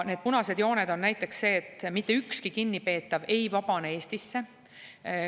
Üks punane joon on näiteks see, et mitte ükski kinnipeetav ei vabane Eestisse.